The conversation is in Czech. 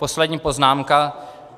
Poslední poznámka.